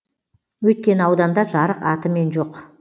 өйткені ауданда жарық атымен жоқ